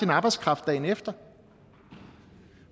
arbejdskraft dagen efter